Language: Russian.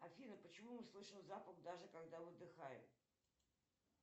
афина почему мы слышим запах даже когда выдыхаем